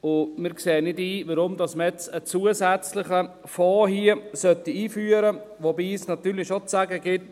Wir sehen nicht ein, warum man hier jetzt einen zusätzlichen Fonds einführen soll, wobei es natürlich schon zu sagen gilt: